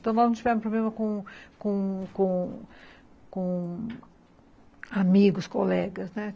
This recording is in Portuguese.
Então, nós não tivemos problema com com com com amigos, colegas.